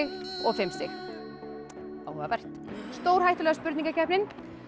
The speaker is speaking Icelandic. og fimm stig áhugavert stórhættulega spurningakeppnin